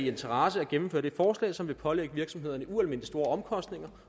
interesse at gennemføre det forslag som vil pålægge virksomhederne ualmindelig store omkostninger